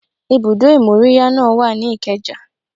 Ibùdó ìmóríyá náà wà ní Ikeja